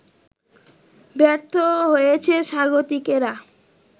ব্যর্থ হয়েছে স্বাগতিকেরা